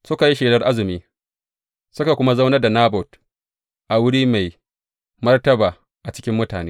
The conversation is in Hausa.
Suka yi shelar azumi, suka kuma zaunar da Nabot a wuri mai martaba a cikin mutane.